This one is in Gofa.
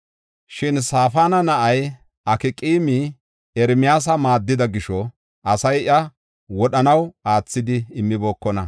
Shin Safaana na7ay, Akqaami Ermiyaasa maaddida gisho asay iya wodhanaw aathidi immibookona.